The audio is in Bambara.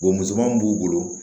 musoman b'u bolo